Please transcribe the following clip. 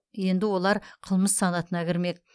енді олар қылмыс санатына кірмек